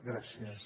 gràcies